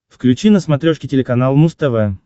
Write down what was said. включи на смотрешке телеканал муз тв